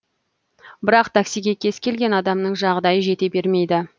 бірақ таксиге кез келген адамның жағдайы жете бермейді